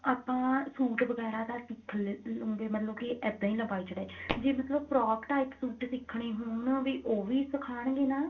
ਆਪਾਂ suit ਵਗੈਰਾ ਤਾਂ ਸਿੱਖ ਲੇਂਦੇ ਮਤਲਬ ਕਿ ਇੱਦਾਂ ਹੀ ਲੰਬਾਈ ਚੋੜਾਈ ਚ ਜੇ ਮਤਲਬ frock type suit ਸਿੱਖਨੇ ਹੋਣ ਵੀ ਉਹ ਵੀ ਸਿਖਾਨਗੇ ਨਾ